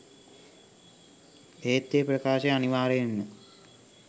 එහෙත් ඒ ප්‍රකාශය අනිවාර්යයෙන්ම